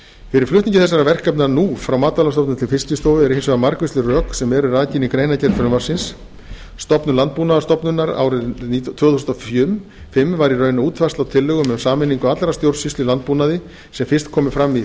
fyrir flutningi þessara verkefna nú frá matvælastofnun til fiskistofu eru hins vegar margvísleg rök sem rakin eru í greinargerð með frumvarpinu stofnun landbúnaðarstofnunar á árinu tvö þúsund og fimm var í raun útfærsla á tillögum um sameiningu allrar stjórnsýslu í landbúnaði sem fyrst komu fram í